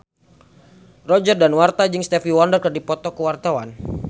Roger Danuarta jeung Stevie Wonder keur dipoto ku wartawan